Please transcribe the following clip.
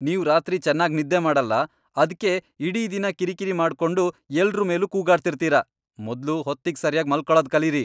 ನೀವ್ ರಾತ್ರಿ ಚೆನ್ನಾಗ್ ನಿದ್ದೆ ಮಾಡಲ್ಲ, ಅದ್ಕೆ ಇಡೀ ದಿನ ಕಿರಿಕಿರಿ ಮಾಡ್ಕೊಂಡು ಎಲ್ರೂ ಮೇಲೂ ಕೂಗಾಡ್ತಿರ್ತೀರ. ಮೊದ್ಲು ಹೊತ್ತಿಗ್ ಸರ್ಯಾಗ್ ಮಲ್ಕೊಳದ್ ಕಲೀರಿ.